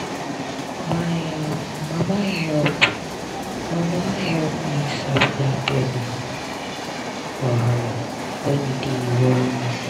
my um mama help mama help me sabi that belly wahala when e dey worry me